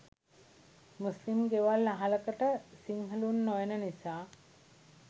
මුස්ලිම් ගෙවල් අහලකට සිංහලුන් නොයන නිසා